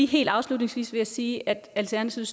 helt afslutningsvis vil sige at alternativet